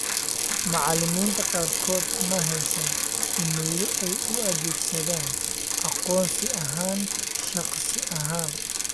Macallimiinta qaarkood ma haysan iimaylo ay u adeegsadaan aqoonsi ahaan shakhsi ahaan.